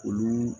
Olu